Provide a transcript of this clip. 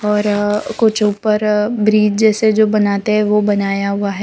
और अ कुछ ऊपर ब्रिज जैसे जो बनाते है वो बनाया हुआ है।